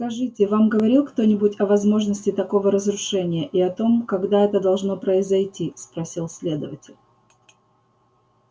скажите вам говорил кто-нибудь о возможности такого разрушения и о том когда это должно произойти спросил следователь